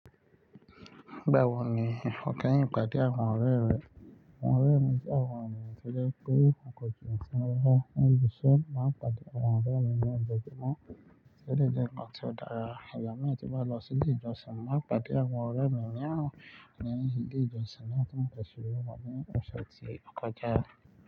Báwo ni ifọkẹ́ yìn pàdé àwọn ọ̀rẹ́ rẹ̀? Àwọn ọ̀rẹ́ mi jẹ́ àwọn ènìyàn tẹ́lẹ̀ pé àkọjọ ǹṣe wọn. Ní ìbùṣú, máa pàdé àwọn ọ̀rẹ́ mi ní ibẹ̀kí mọ́ tẹ́lẹ̀ jẹ́ nǹkan tí ó dára. Ìgbà mẹ́ta bá lọ sí ilé ìjọsìn, máa pàdé àwọn ọ̀rẹ́ mi ní àárọ̀ lẹ́yìn ilé ìjọsìn náà tí mo bẹ̀rẹ̀ sí ní wọ́n ní ọ̀sẹ̀ tí ó kọjá.